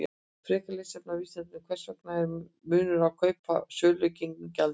Frekara lesefni á Vísindavefnum: Hvers vegna er munur á kaup- og sölugengi gjaldmiðla?